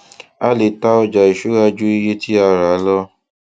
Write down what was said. a le ta ọjà ìṣúra ju iye tí a rà lọ